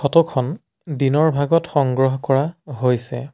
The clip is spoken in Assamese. ফটো খন দিনৰ ভাগত সংগ্ৰহ কৰা হৈছে।